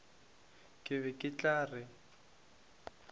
ke be ke tla re